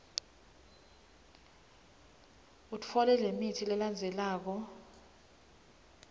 utfole lemitsi lelandzelako